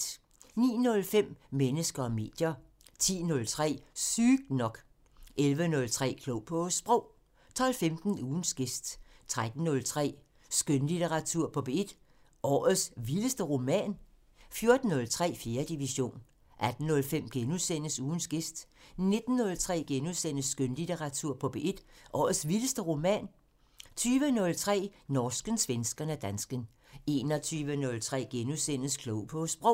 09:05: Mennesker og medier 10:03: Sygt nok 11:03: Klog på Sprog 12:15: Ugens gæst 13:03: Skønlitteratur på P1: Årets vildeste roman? 14:03: 4. division 18:05: Ugens gæst * 19:03: Skønlitteratur på P1: Årets vildeste roman? * 20:03: Norsken, svensken og dansken 21:03: Klog på Sprog *